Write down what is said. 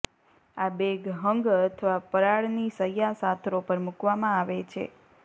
આ બેગ હંગ અથવા પરાળની શય્યા સાથરો પર મૂકવામાં આવે છે